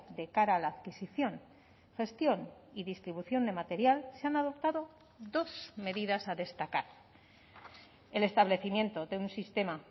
de cara a la adquisición gestión y distribución de material se han adoptado dos medidas a destacar el establecimiento de un sistema